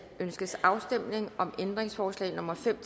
ønskes afstemning om ændringsforslag nummer fem